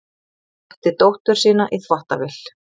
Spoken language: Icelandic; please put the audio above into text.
Setti dóttur sína í þvottavél